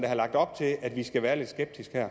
har lagt op til at vi skal være lidt skeptiske